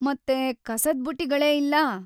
ಮತ್ತೆ ಕಸದ್ ಬುಟ್ಟಿಗಳೇ ಇಲ್ಲ.